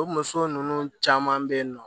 O muso ninnu caman bɛ yen nɔ